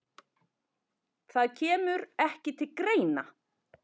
Það kemur ekki til greina!